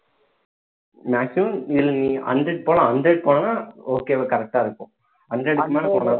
maximum இதுல நீ hundred போலாம் hundred போனான okay வா correct ஆ இருக்கும் hundred மேல போனா